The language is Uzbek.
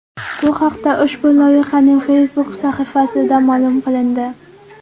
Bu haqda ushbu loyihaning Facebook sahifasida ma’lum qilindi .